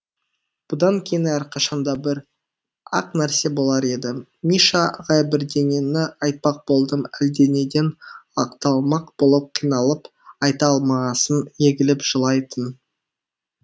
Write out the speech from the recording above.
бұдан кейін әрқашан да бір ақ нәрсе болар еді миша ағай бірдеңені айтпақ болдым әлденеден ақталмақ болып қиналып айта алмағасын егіліп жылайтын